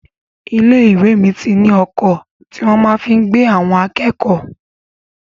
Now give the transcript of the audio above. Ilé-ìwé mi ní ọkọ̀ tí wọ́n fi máa ń gbé àwọn akẹ́kọ̀ọ́.